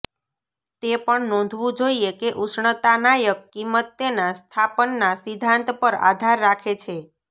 તે પણ નોંધવું જોઇએ કે ઉષ્ણતાનાયક કિંમત તેના સ્થાપન ના સિદ્ધાંત પર આધાર રાખે છે